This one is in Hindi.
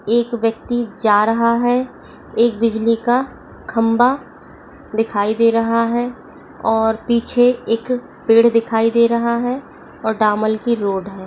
एक व्यक्ति जा रहा है एक बिजली का खंबा दिखाई दे रहा है और पीछे एक पेड़ दिखाई दे रहा है और दमाल की रोड है।